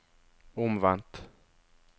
omvendt